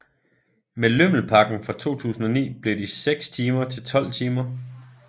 Med lømmelpakken fra 2009 blev de 6 timer til 12 timer